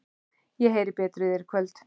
Ég heyri betur í þér í kvöld.